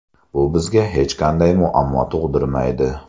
Bu bizga hech qanday muammo tug‘dirmaydi.